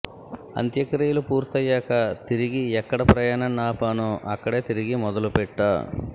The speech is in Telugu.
అంత్యక్రియలు పూర్తయ్యాక తిరిగి ఎక్కడ ప్రయాణాన్ని ఆపానో అక్కడే తిరిగి మొదలుపెట్టా